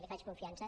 li faig confiança